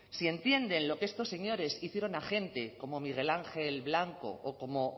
si entienden lo que estos señores hicieron a gente como miguel ángel blanco o como